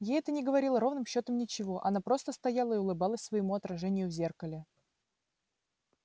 ей это не говорило ровным счётом ничего она просто стояла и улыбалась своему отражению в зеркале